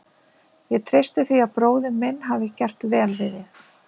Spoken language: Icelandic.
Ég treysti því að bróðir minn hafi gert vel við þig.